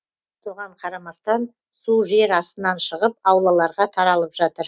соған қарамастан су жер астынан шығып аулаларға таралып жатыр